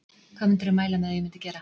Hvað myndirðu mæla með að ég myndi gera?